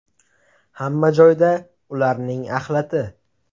Hamma joyda ularning axlati.